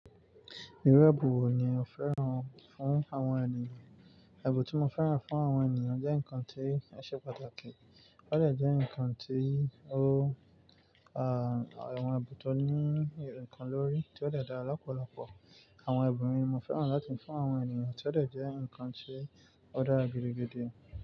Irú ẹbu wo ni ẹ fẹ́ràn fún àwọn ènìyàn? Ẹ̀bùn tí mo fẹ́ràn fún àwọn ènìyàn jẹ́ nǹkan tí ó ṣe pàtàkì, ó dẹ̀ jẹ́ nǹkan tí ó à, àwọn ẹ̀bùn tó ní nǹkan lórí tí ó dẹ̀ dára lọ́pọ̀lọpọ̀. Àwọn ẹ̀bùn mi mo fẹ́ràn láti fún àwọn ènìyàn tí ó dọ̀ọ́ jẹ́ nǹkan tí ó dára gidi gidi.